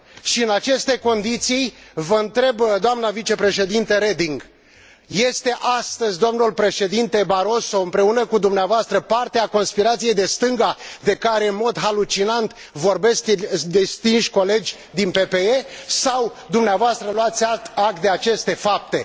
Și în aceste condiții, vă întreb, doamna vicepreședinte Reding, este astăzi domnul președinte Barroso împreună cu dumneavoastră parte a conspirației de stânga, de care în mod halucinant vorbesc distinși colegi din PPE, sau dumneavoastră luați act de aceste fapte?